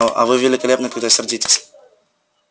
а а вы великолепны когда сердитесь